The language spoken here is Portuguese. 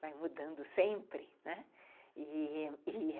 Vai mudando sempre, né? e... e...